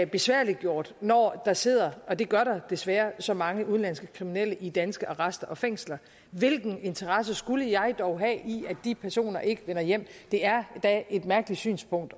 besværliggjort når der sidder og det gør der desværre så mange udenlandske kriminelle i danske arrester og fængsler hvilken interesse skulle jeg dog have i at de personer ikke vender hjem det er da et mærkeligt synspunkt